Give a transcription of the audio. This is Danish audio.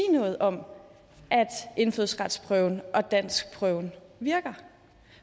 noget om at indfødsretsprøven og danskprøven virker